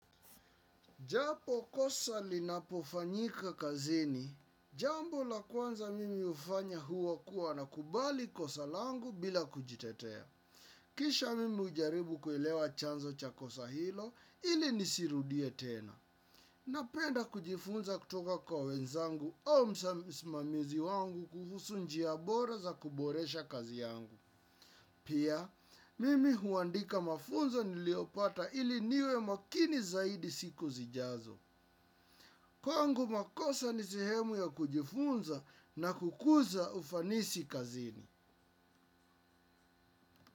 Jambo kosa linapofanyika kazini, jambo la kwanza mimi hufanya huwa kuwa na kubali kosa langu bila kujitetea. Kisha mimi hujaribu kuelewa chanzo cha kosa hilo ili nisirudie tena. Napenda kujifunza kutoka kwa wenzangu au msa msimamizi wangu kuhusu njia bora za kuboresha kazi yangu. Pia, mimi huandika mafunzo niliyopata ili niwe makini zaidi siku zijazo. Kw ngu makosa ni sehemu ya kujifunza na kukuza ufanisi kazini.